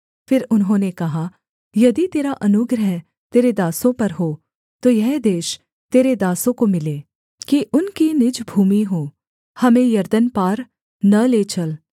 फिर उन्होंने कहा यदि तेरा अनुग्रह तेरे दासों पर हो तो यह देश तेरे दासों को मिले कि उनकी निज भूमि हो हमें यरदन पार न ले चल